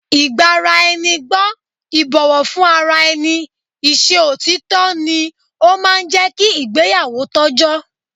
Ìgbaraẹnigbọ́, ìbọ̀wọ́ fún ara ẹni, i ṣe òtítọ́ ni ó máa ń jẹ́ kí ìgbéyàwó tọ́jọ́